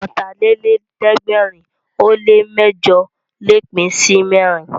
Ọ̀tàlélẹ̀ẹ́dẹ́gbẹ̀rin ó lè mẹ́jọ̀ lè pín sí mẹ́rin